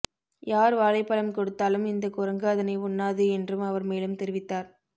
யார் வாழைப்பழம் கொடுத்தாலும் இந்த குரங்கு அதனை உண்ணாது என்றும் அவர் மேலும் தெரிவித்தார்